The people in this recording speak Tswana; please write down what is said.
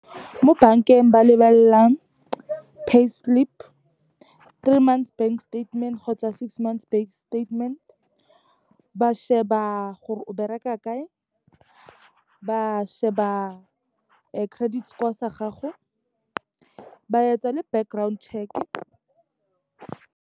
Mo bankeng ba lebelelang payslip, three months bank statement kgotsa six months bank statement, ba sheba gore o bereka kae, ba sheba credit score sa gago, ba etsa le background check-e.